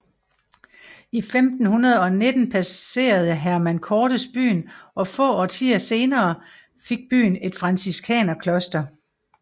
I 1519 passerede Hernán Cortés byen og få årtier senere fik byen et Franciskaner kloster